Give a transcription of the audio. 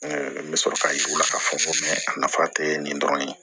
N bɛ sɔrɔ k'a yir'u la k'a fɔ ko a nafa tɛ nin dɔrɔn ye